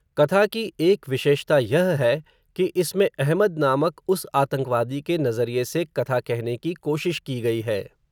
कथा की एक विशेषता, यह है, कि इसमें अहमद नामक उस आतंकवादी के नज़रिए से, कथा कहने की कोशिश, की गई है